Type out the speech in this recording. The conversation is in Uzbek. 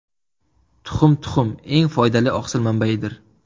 Tuxum Tuxum eng foydali oqsil manbaidir.